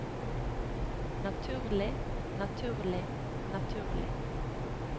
naturlig naturlig naturlig